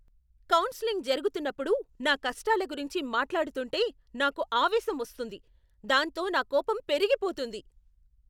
Counselling జరుగుతున్నప్పుడు నా కష్టాల గురించి మాట్లాడుతుంటే నాకు ఆవేశం వస్తుంది. దాంతో నా కోపం పెరిగిపోతుంది.